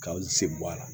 K'aw se bɔ a la